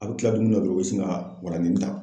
A bɛ kila dumi na dɔrɔn u bɛ sin ka waladennin ta.